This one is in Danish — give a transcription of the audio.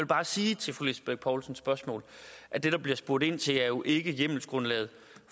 bare sige til fru lisbeth bech poulsens spørgsmål at det der bliver spurgt ind til jo ikke er hjemmelsgrundlaget